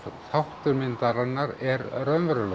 þáttur myndarinnar er raunverulegur